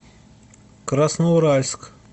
красноуральск